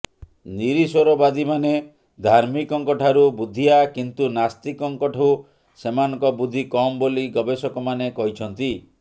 ନିରିଶ୍ୱରବାଦୀମାନେ ଧାର୍ମିକଙ୍କଠାରୁ ବୁଦ୍ଧିଆ କିନ୍ତୁ ନାସ୍ତିକଙ୍କଠୁ ସେମାନଙ୍କ ବୁଦ୍ଧି କମ୍ ବୋଲି ଗବେଷକମାନେ କହିଛନ୍ତି